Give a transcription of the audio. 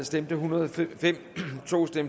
stemte en hundrede og fem